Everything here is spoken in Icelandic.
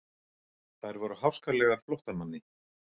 Þær voru háskalegar flóttamanni.